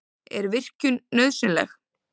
Er virkjun nauðsynleg?